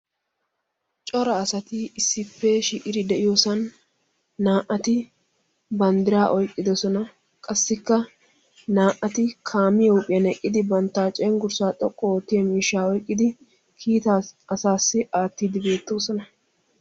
Cora asay issippe shiiqiddi de'iyosan naa'atti banddira oyqqidosonna. Naa'atti qassi haraba oyqqidosonna.